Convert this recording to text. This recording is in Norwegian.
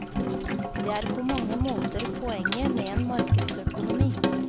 Det er på mange måter poenget med en markedsøkonomi.